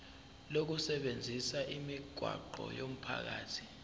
lokusebenzisa imigwaqo yomphakathi